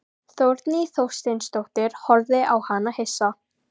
Þórný Þorsteinsdóttir horfði á hana hissa.